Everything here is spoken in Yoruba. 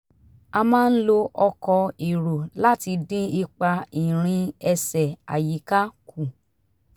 a máa ń lo ọkọ̀ èrò láti dín ipa ìrìn ẹsẹ̀ àyíká kù